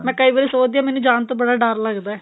ਮੈਂ ਕਈ ਵਾਰੀ ਸੋਚਦੀ ਆਂ ਮੈਂਨੂੰ ਜਾਣ ਤੋਂ ਬੜਾ ਡਰ ਲੱਗਦਾ